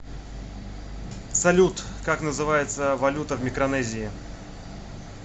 салют как называется валюта в микронезии